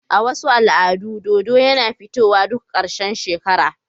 A cikin wasu al'adu, dodo yana fitowa duk ƙarshen shekara.